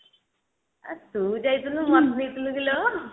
ଆ ତୁ ଯାଇଥିଲୁ ମୋତେ ନେଇଥିଲୁ କିଲୋ